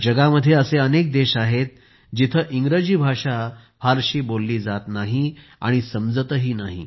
जगात असे अनेक देश आहेत जिथे इंग्रजी भाषा फारशी बोलली जात नाही आणि समजतही नाही